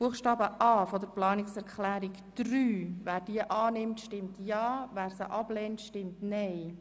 Wer Buchstabe a der Planungserklärung 3 annimmt, stimmt Ja, wer dies ablehnt, stimmt Nein.